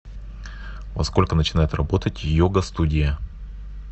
во сколько начинает работать йога студия